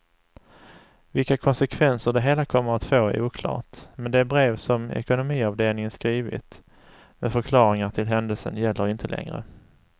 Vilka konsekvenser det hela kommer att få är oklart, men det brev som ekonomiavdelningen skrivit med förklaringar till händelsen gäller inte längre.